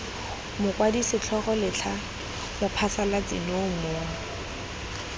mokwadi setlhogo letlha mophasalatsi nomore